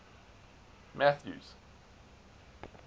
mathews